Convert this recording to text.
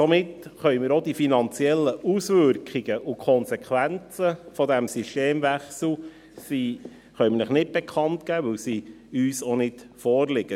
Somit können wir Ihnen auch die finanziellen Auswirkungen und Konsequenzen dieses Systemwechsels nicht bekannt geben, denn sie liegen uns nicht vor.